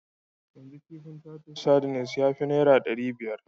Yanzu kifin titus sardines ya fi naira ɗari biya.